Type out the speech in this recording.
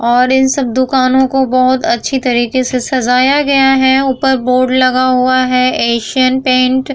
और इन सब दुकानो को बहुत अच्छी तरीके से सजाया गया है ऊपर बोर्ड लगा हुआ है एशियन पेंट ।